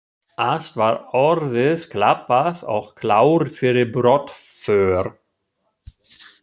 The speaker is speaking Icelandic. Allt var orðið klappað og klárt fyrir brottför.